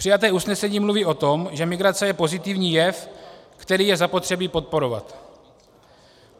Přijaté usnesení mluví o tom, že migrace je pozitivní jev, který je zapotřebí podporovat.